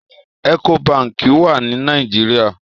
Èkó bànkí wà ni Nàijiriá